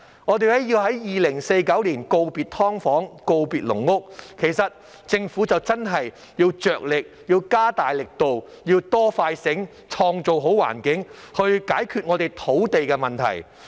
我們要在2049年告別"劏房"和"籠屋"，其實政府真的要加大力度，要"多、快、醒"，創造好環境，解決我們的土地問題。